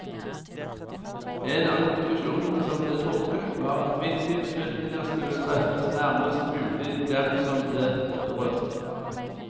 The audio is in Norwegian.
En av konklusjonene som ble trukket, var at viktige beslutninger skulle treffes nærmest mulig dem som ble berørt.